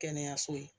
Kɛnɛyaso ye